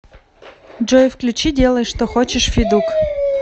джой включи делай что хочешь федук